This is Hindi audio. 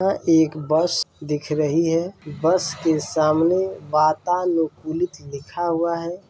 यह एक बस दिख रही हैं बस के सामने वाताअनुकुलित लिखा हुआ हैं।